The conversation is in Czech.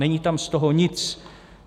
Není tam z toho nic.